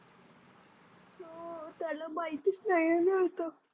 हो त्याला माहीतच नाही आहे ना आता.